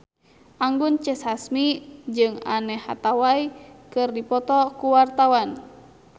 Anggun C. Sasmi jeung Anne Hathaway keur dipoto ku wartawan